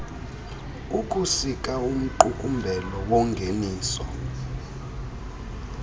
ukusika umqukumbelo wongeniso